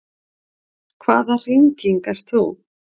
Hvaða hringing ert þú?